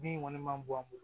Bin kɔni man bɔ an bolo